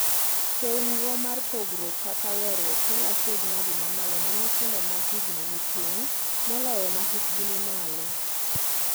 Chenro mag pogruok kata weeruok kelo achiedhnade mamalo ne nyithindo ma higni ni piny moloyo m ahikgi ni malo.